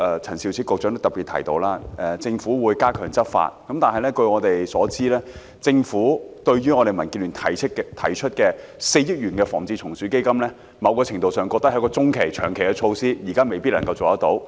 陳肇始局長剛才也特別提到，特區政府會加強執法，但據我們所知，政府認為民建聯提出的4億元"防治蟲鼠基金"，在某個程度上來說，是一項中、長期措施，現在未必能夠辦到。